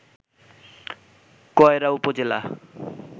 কয়রা উপজেলা